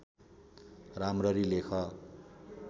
राम्ररी लेख